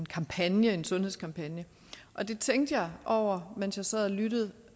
en kampagne en sundhedskampagne og der tænkte jeg over mens jeg sad og lyttede